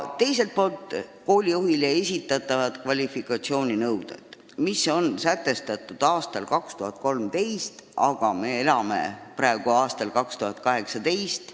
Teiselt poolt on koolijuhile esitatavad kvalifikatsiooninõuded sätestatud aastal 2013, aga me elame praegu aastal 2018.